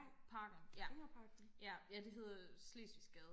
Parken ja ja ja det hedder Slesvigsgade